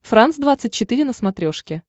франс двадцать четыре на смотрешке